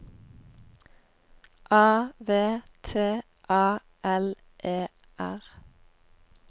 A V T A L E R